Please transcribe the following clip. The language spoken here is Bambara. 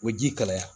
O ji kalaya